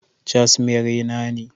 Cashmere na ne